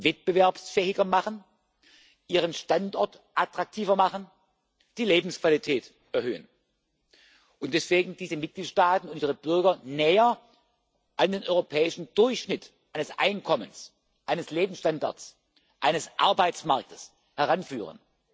wettbewerbsfähiger machen, ihren Standort attraktiver machen, die Lebensqualität erhöhen und deswegen diese Mitgliedstaaten unsere Bürger näher an den europäischen Durchschnitt eines Einkommens, eines Lebensstandards, eines Arbeitsmarktes heranführen.